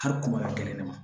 Hali kungo la kelen de man